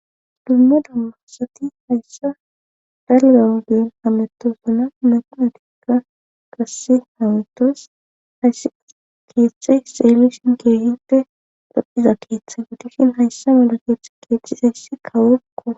dumme dumma asati hayssa dalgawgeen hametosana maqinotikka qasse haawetos hayssi keeththey seelishin keeginpe dapphiza keeththey odusshin hayssa mala keeththe keecizayssi kaworkko